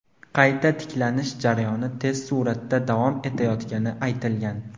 Qayta tiklanish jarayoni tez suratda davom etayotgani aytilgan.